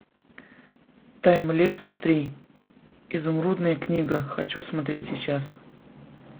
таймлесс три изумрудная книга хочу смотреть сейчас